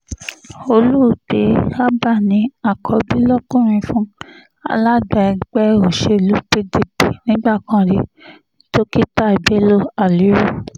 olóògbé abba ní àkọ́bí lọkùnrin fún alága ẹgbẹ́ òsèlú pdp nígbà kan rí dókítà bello haliru